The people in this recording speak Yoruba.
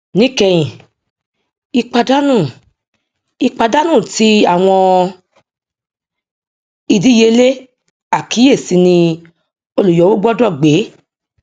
níkẹyìn ìpàdánù ìpàdánù ti àwọn ìdíyelé àkíyèsí ni olùyọwó gbọdọ gbé